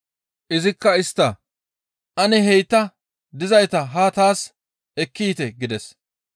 Izikka istta, «Ane heyta dizayta haa taas ekki yiite» gides.